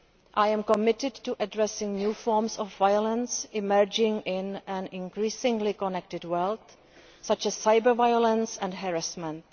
I am committed to addressing new forms of violence emerging in an increasingly connected world, such as cyber violence and harassment.